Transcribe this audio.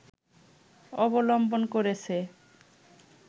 অবলম্বন করেছে